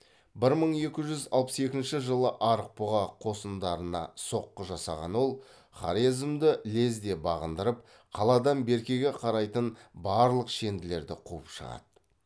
бір мың екі жүз алпыс екінші жылы арықбұға қосындарына соққы жасаған ол хорезмді лезде бағындырып қаладан беркеге қарайтын барлық шенділерді қуып шығады